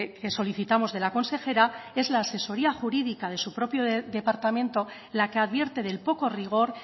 que solicitamos de la consejera es la asesoría jurídica de su propio departamento la que advierte del poco rigor